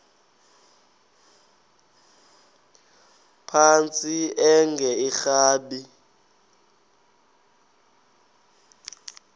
phantsi enge lrabi